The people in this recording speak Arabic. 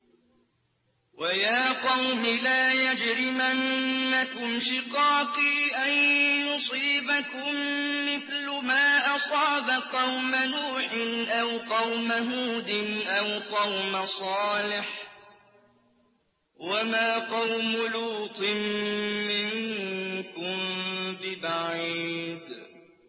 وَيَا قَوْمِ لَا يَجْرِمَنَّكُمْ شِقَاقِي أَن يُصِيبَكُم مِّثْلُ مَا أَصَابَ قَوْمَ نُوحٍ أَوْ قَوْمَ هُودٍ أَوْ قَوْمَ صَالِحٍ ۚ وَمَا قَوْمُ لُوطٍ مِّنكُم بِبَعِيدٍ